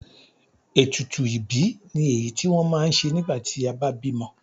Ètùtù ìbí ni èyí tí wọ́n ma ń ṣe nígbà tí a bá bímọ.